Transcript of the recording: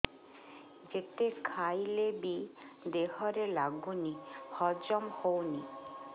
ଯେତେ ଖାଇଲେ ବି ଦେହରେ ଲାଗୁନି ହଜମ ହଉନି